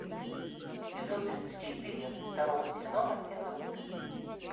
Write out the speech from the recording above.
эпизод тридцать четыре второго сезона физрук